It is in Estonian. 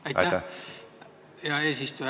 Aitäh, hea eesistuja!